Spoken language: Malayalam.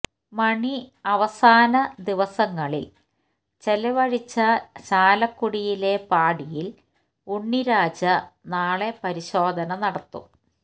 മണി അവസാനദിവസങ്ങള് ചിലവഴിച്ച ചാലക്കുടിയിലെ പാടിയില് ഉണ്ണിരാജ നാളെ പരിശോധന നടത്തും